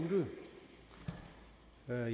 er